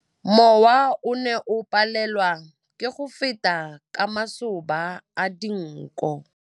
Mowa o ne o palelwa ke go feta ka masoba a dinko.